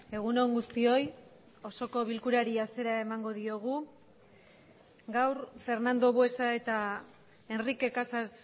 egun on guztioi osoko bilkurari hasiera emango diogu gaur fernando buesa eta enrique casas